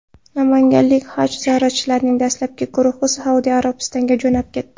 Namanganlik Haj ziyoratchilarning dastlabki guruhi Saudiya Arabistoniga jo‘nab ketdi.